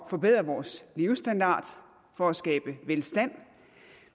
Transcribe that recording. at forbedre vores levestandard for at skabe velstand